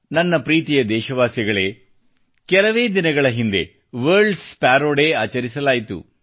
ನನ್ನ ಪ್ರೀತಿಯ ದೇಶವಾಸಿಗಳೇ ಕೆಲವೇ ದಿನಗಳ ಹಿಂದೆ ವರ್ಲ್ಡ್ ಸ್ಪಾರೋ ಡೇ ಆಚರಿಸಲಾಯಿತು